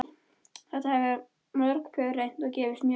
Þetta hafa mörg pör reynt og gefist mjög vel.